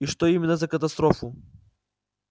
и что именно за катастрофу